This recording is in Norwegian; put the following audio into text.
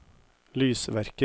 lysverker